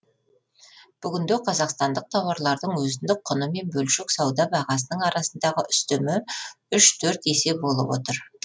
бүгінде қазақстандық тауарлардың өзіндік құны мен бөлшек сауда бағасының арасындағы үстемі үш төрт есе болып отыр